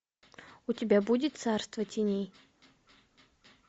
у тебя будет царство теней